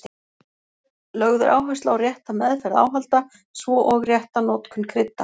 Lögð er áhersla á rétta meðferð áhalda svo og rétta notkun krydda.